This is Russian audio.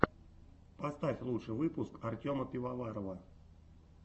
поставь лучший выпуск артема пивоварова